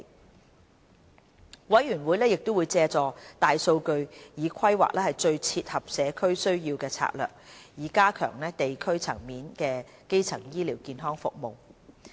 督導委員會亦會借助大數據規劃最切合社區需要的策略，以加強地區層面的基層醫療健康服務。